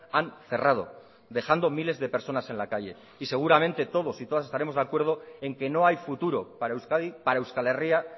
han cerrado dejando miles de personas en la calle y seguramente todos y todas estaremos de acuerdo en que no hay futuro para euskadi para euskal herria